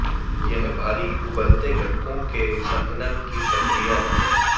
यह भारी उबलते घटकों के संघनन की प्रक्रिया है